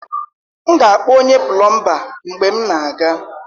M ga-akpọ onye plọmba mgbe m na-aga